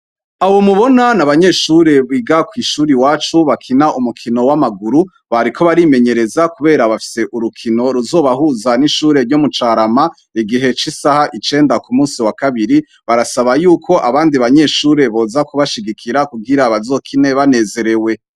Abo mubona ni abanyeshure biga kw'ishure iwacu bakina umukino w'amaguru bariko barimenyereza kubera bafise urukino ruzobahuza n'ishure ryo mu carama igihe c'isaha icenda ku munsi wa kabiri barasaba yuko abandi banyeshure boza kubashigikira kugira bazokine banezerewe.